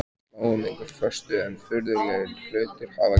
Við sláum engu föstu en furðulegri hlutir hafa gerst.